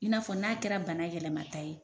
I n'a fɔ n'a kɛra bana yɛlɛmata ye